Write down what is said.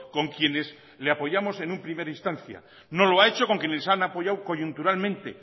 con quienes le apoyamos en una primera instancia no lo ha hecho con los que los han apoyado coyunturalmente